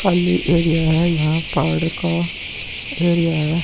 खाली एरिया है यहाँ पहाड़ का एरिया है।